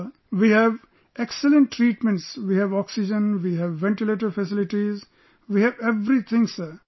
Sir, we have excellent treatments, we have oxygen, we have ventilator facilities...we have everything Sir